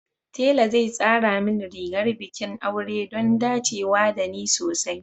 Tela zai tsara min rigar bikin aure don dacewa da ni sosai